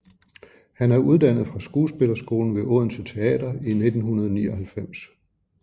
Han er uddannet fra Skuespillerskolen ved Odense Teater i 1999